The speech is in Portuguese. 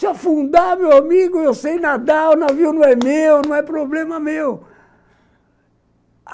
Se afundar, meu amigo, eu sei nadar, o navio não é meu, não é problema meu.